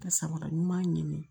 Ka samara ɲuman ɲini